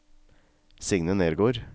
Signe Nergård